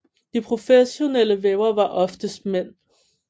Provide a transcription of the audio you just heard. De professionelle vævere var oftest mænd